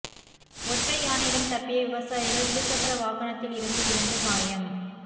ஒற்றை யானையிடம் தப்பிய விவசாயிகள் இருசக்கர வாகனத்தில் இருந்து விழுந்து காயம்